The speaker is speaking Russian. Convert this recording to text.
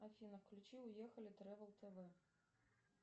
афина включи уехали тревел тв